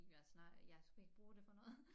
Jeg snak jeg skulle ikke bruge det på noget